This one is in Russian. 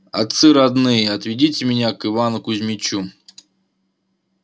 отцы родные отведите меня к ивану кузмичу